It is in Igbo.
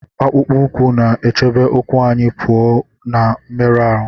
Akpụkpọ ụkwụ na-echebe ụkwụ anyị pụọ na mmerụ ahụ